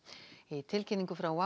í tilkynningu frá